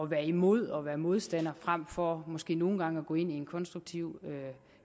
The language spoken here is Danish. være imod og være modstander frem for måske nogle gange at gå ind i en konstruktiv